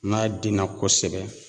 N'a den na kɔsɛbɛ